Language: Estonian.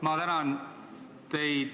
Ma tänan teid ...